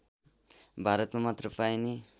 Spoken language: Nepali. भारतमा मात्र पाइने